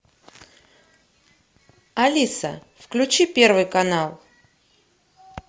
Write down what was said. алиса включи первый канал